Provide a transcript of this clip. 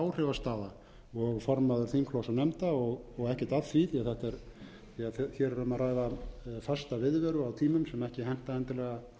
eða áhrifastaða og formaður þingflokks og nefnda og ekkert að því því hér er um að ræða fasta viðveru á tímum sem ekki henta endilega